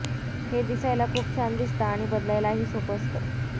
हे दिसायला खूप छान दिसतं आणि बदलायलाही सोपं असतं